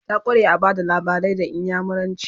ta kware a Bada labarai da inyamuranci